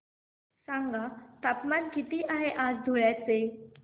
सांगा तापमान किती आहे आज धुळ्याचे